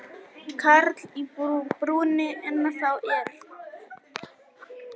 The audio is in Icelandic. Karl í brúnni ennþá er.